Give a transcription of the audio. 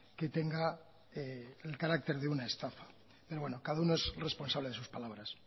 que tenga el carácter de una estafa pero bueno cada uno es responsable de sus palabras